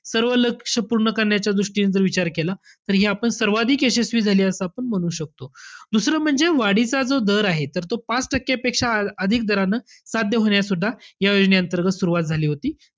सर्व लक्ष पूर्ण करण्याच्या दृष्टीने जर विचार केला, तर हे आपण सर्वाधिक यशस्वी झाली असं म्हणू शकतो. दुसरं म्हणजे वाढीचा जो दर आहे तर पाच टक्क्यापेक्षा अधिक दरानं साध्य होण्यातसुद्धा, या योजनेअंतर्गत सुरवात झाली होती.